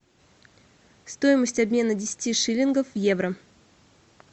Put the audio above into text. стоимость обмена десяти шиллингов в евро